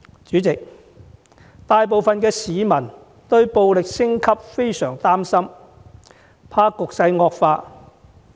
主席，大部分市民對暴力升級都相當擔心，害怕局勢會惡化。